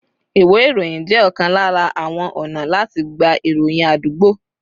Ìwé ìròyìn jẹ́ ọ̀kan lára àwọn ọ̀nà láti gba ìròyìn àdúgbò